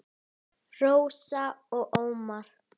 Hann var orðvar og orðfár.